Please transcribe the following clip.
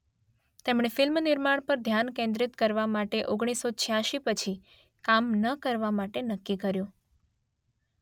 તેમણે ફિલ્મ નિર્માણ પર ધ્યાન કેન્દ્રિત કરવા માટે ઓગણીસસો છ્યાંસી પછી કામ ન કરવા માટે નક્કી કર્યું.